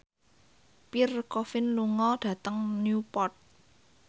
Pierre Coffin lunga dhateng Newport